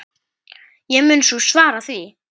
Ég mun nú svara því.